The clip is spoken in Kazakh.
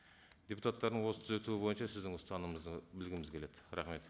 депутаттардың осы түзетуі бойынша сіздің ұстанымыңызды білгіміз келеді рахмет